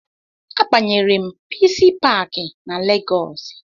A banyere m pisi pakị na lagos